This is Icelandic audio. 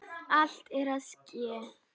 Allt er að ske!